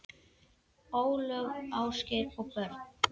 Ólöf, Ásgeir og börn.